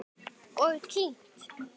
Og kyngt.